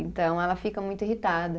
Então, ela fica muito irritada.